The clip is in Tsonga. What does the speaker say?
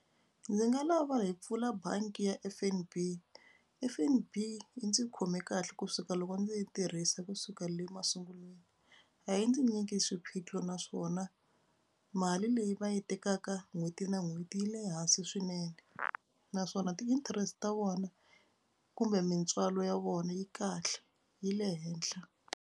Ndzi nga lava hi pfula bangi ya F_N_B. F_N_B yi ndzi khome kahle kusuka loko ndzi yi tirhisa kusuka le masungulweni. A yi ndzi nyiki swiphiqo naswona mali leyi va yi tekaka n'hweti na n'hweti yi le hansi swinene naswona ti-interest ta vona kumbe mintswalo ya vona yi kahle yi le henhla.